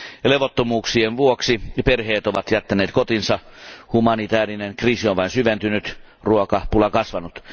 Levottomuuksien vuoksi perheet ovat jättäneet kotinsa, humanitäärinen kriisi on vain syventynyt ja ruokapula kasvanut.